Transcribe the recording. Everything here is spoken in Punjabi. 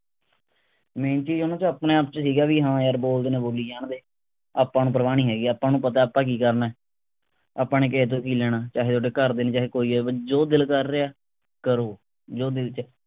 ਨੂੰ ਤਾਂ ਆਪਣੇ ਆਪ ਚ ਸੀਗਾ ਵੀ ਹਾਂ ਯਾਰ ਬੋਲਦੇ ਨੇ ਬੋਲੀ ਜਾਣਦੇ ਆਪਾਂ ਨੂੰ ਪ੍ਰਵਾਹ ਨਹੀਂ ਹੈਗੀ ਆਪਾਂ ਨੂੰ ਪਤੇ ਆਪਾਂ ਕਿ ਕਰਨੇ ਆਪਾਂ ਨੇ ਕਿਸੇ ਤੋਂ ਕਿ ਲੈਣਾ ਚਾਹੇ ਥੋਡੇ ਘਰ ਦੇ ਚਾਹੇ ਕੋਈ ਹੈ ਜੋ ਦਿਲ ਕਰ ਰਿਹੇ ਕਰੋ ਜੋ ਦਿਲ ਚ